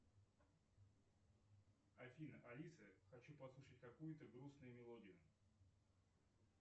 афина алиса хочу послушать какую то грустную мелодию